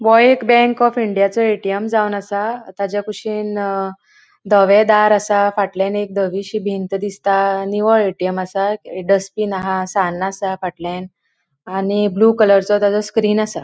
हो एक bank of इंडियाचो ए.टी.एम. जावन असा ताचा कुशीन धवे दार असा. फाटल्यान एक धवि दिसता आणि ए.टी.एम. असा डस्ट्बिन अहा. सान्न असा. फाटल्यान आणि ब्लू कलरचो ताजो स्क्रीन असा.--